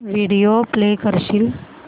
video play करशील